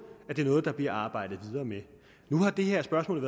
at det er noget der bliver arbejdet videre med nu har det her spørgsmål